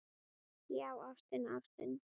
Já, ástin, ástin.